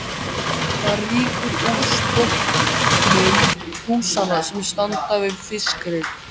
Það rýkur úr strompum húsanna sem standa við fiskreit